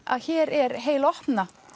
að hér er heil opna